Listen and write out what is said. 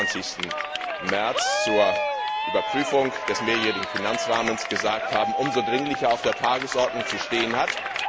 25. März zur Überprüfung des mehrjährigen Finanzrahmens gesagt haben, umso dringlicher auf der Tagesordnung zu stehen hat.